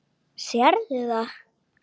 Sérðu það?